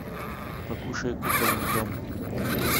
покушай кукольный дом